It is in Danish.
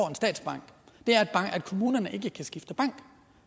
en statsbank er at kommunerne ikke kan skifte bank